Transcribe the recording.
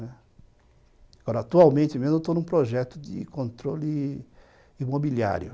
Agora, atualmente mesmo, eu estou num projeto de controle imobiliário.